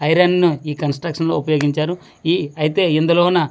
Iron ను ఈ construction లో ఉపయోగించారు ఈ అయితే ఇందులో న.